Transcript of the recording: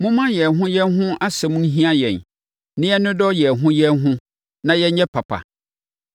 Momma yɛn ho yɛn ho asɛm nhia yɛn na yɛnnodɔ yɛn ho yɛn ho na yɛnyɛ papa.